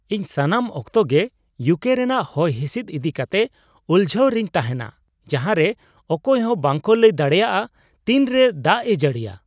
ᱤᱧ ᱥᱟᱱᱟᱢ ᱚᱠᱛᱚ ᱜᱮ ᱤᱭᱩᱠᱮ ᱨᱮᱭᱟᱜ ᱦᱚᱭᱦᱤᱥᱤᱫ ᱤᱫᱤ ᱠᱟᱛᱮ ᱩᱞᱡᱷᱟᱹᱣ ᱨᱮᱧ ᱛᱟᱦᱮᱱᱟ, ᱡᱟᱦᱟᱨᱮ ᱚᱠᱚᱭ ᱦᱚᱸ ᱵᱟᱝᱠᱚ ᱞᱟᱹᱭ ᱫᱟᱲᱮᱭᱟᱜᱼᱟ ᱛᱤᱱᱨᱮ ᱫᱟᱜᱼᱮ ᱡᱟᱹᱲᱤᱭᱟ ᱾